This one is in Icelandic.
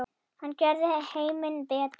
Hann gerði heiminn betri.